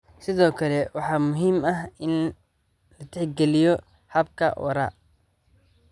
Sidoo kale, waxaa muhiim ah in la tixgeliyo hababka waara.